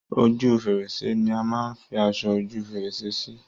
Ojú fèrèsé ni a máa ń fi aṣọ ojú fèrèsé sí.